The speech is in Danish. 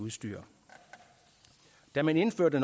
da man indførte